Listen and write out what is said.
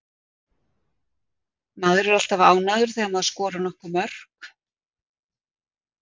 Maður er alltaf ánægður þegar maður skorar nokkur mörk.